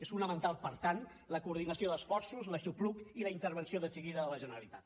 és fonamental per tant la coordinació d’esforços l’aixopluc i la intervenció decidida de la generalitat